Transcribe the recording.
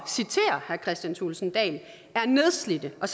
citere herre kristian thulesen dahl er nedslidte og